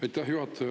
Aitäh, juhataja!